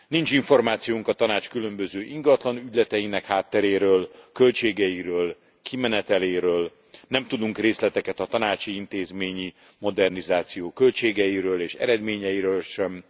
Nincs információnk a Tanács különböző ingatlanügyleteinek hátteréről, költségeiről, kimeneteléről, nem tudunk részleteket a tanácsi intézményi modernizáció költségeiről és eredményeiről sem.